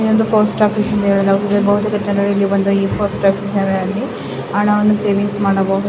ಇದು ಒಂದು post office ಎಂದು ಏಳಲಾಗುತ್ತದೆ ಬಹುತೇಕ ಜನರು ಇಲ್ಲಿ ಬಂದು ಈ ಪೋಸ್ಟ್ ಆಫೀಸಿ ನಲ್ಲಿ ಅಣ ವನ್ನು ಸೇವಿಂಗ್ಸ್ ಮಾಡಬಹುದು.